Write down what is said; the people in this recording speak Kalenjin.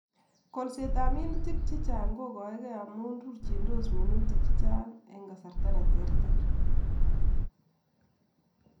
Kolsetab minutik chechang kogaege amun rurchindos minutakab chechang en kasarta neterter